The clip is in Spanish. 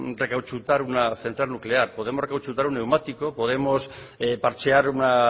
recauchutar una central nuclear podemos recauchutar un neumático podemos parchear una